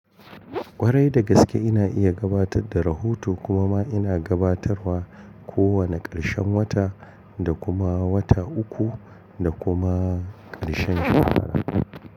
Kwarai da gaske ina iya gabatar da rahoto kuma ma ina gabatarwa kowane ƙarshen wata da kuma wata uku da kuma ƙarshen shekara.